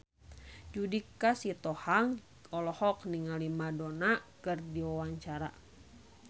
Judika Sitohang olohok ningali Madonna keur diwawancara